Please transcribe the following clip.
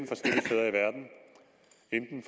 enten